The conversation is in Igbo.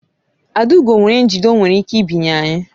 Adaugo nwere njide o nwere ike binye anyị